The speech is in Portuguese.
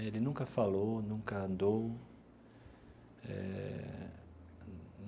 Ele nunca falou, nunca andou eh.